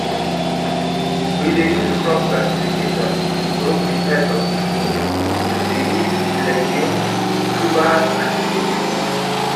we dey use crop classification to group the types of the food to cereals legumes tubers and vegetables